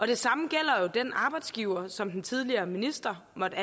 det samme gælder jo den arbejdsgiver som den tidligere minister måtte